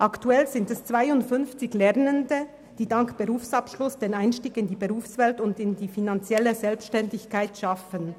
Aktuell sind es 52 Lernende, die dank des Berufsabschlusses den Einstieg in die Berufswelt und in die finanzielle Selbstständigkeit schaffen.